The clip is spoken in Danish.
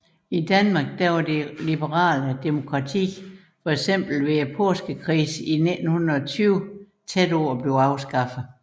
I Danmark var det liberale demokrati eksempelvis ved Påskekrisen i 1920 tæt på at blive afskaffet